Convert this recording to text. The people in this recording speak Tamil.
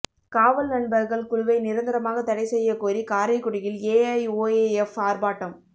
காவல் நண்பர்கள் குழுவை நிரந்தரமாக தடை செய்யக் கோரி காரைக்குடியில் ஏஐஒய்எப் ஆர்ப்பாட்டம்